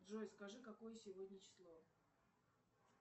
джой скажи какое сегодня число